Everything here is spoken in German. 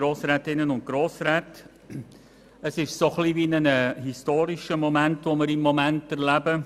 Es ist eine Art historischer Moment, den wir jetzt erleben: